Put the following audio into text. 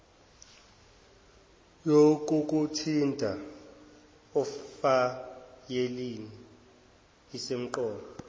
yokukuthinta efayelini isemqoka